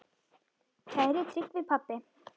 Kæri Tryggvi pabbi.